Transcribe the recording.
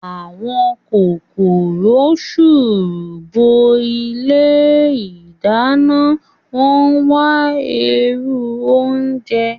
Àwọn kòkòrò sùùrù bo ilé ìdáná náà, wọ́n ń wá èérún oúnjẹ